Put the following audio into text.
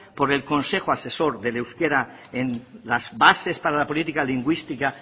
por el consejo asesor del euskara en las bases para la política lingüística